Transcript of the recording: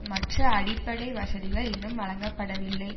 மற்ற அடிப்படை வசதிகள் இன்னும் வழங்கப்படவில்லை